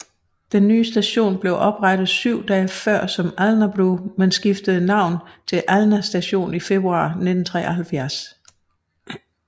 Den nye station blev oprettet syv dage før som Alnabru men skiftede navn til Alna Station i februar 1973